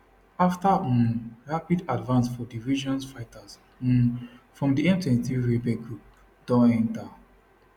afta um rapid advance for di region fighters um from di m23 rebel group don enta